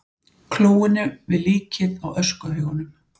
klóinu við líkið á öskuhaugunum.